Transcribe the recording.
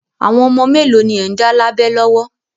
Àwọn ọmọ mélòó ni ẹ̀ ń dá lábẹ lọ́wọ́?